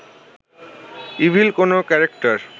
evil কোনো character